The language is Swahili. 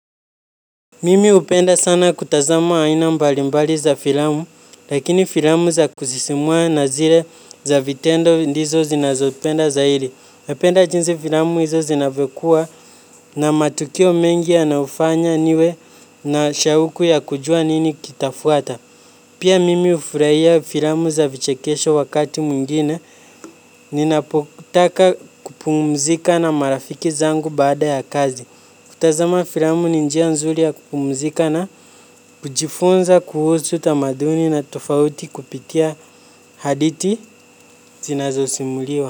Mimi hupenda sana kutazama aina mbalimbali za filamu, lakini filamu za kusisimua na zile za vitendo ndizo zinazopenda zaidi. Napenda jinsi filamu hizo zinavyokuwa na matukio mengi yanayofanya niwe na shauku ya kujua nini kitafuata. Pia mimi hufurahia filamu za vichekesho wakati mwingine ninapotaka kupumzika na marafiki zangu baada ya kazi. Kutazama filamu ni njia nzuri ya kupumzika na kujifunza kuhusu tamaduni tofauti kupitia hadithi zinazosimuliwa.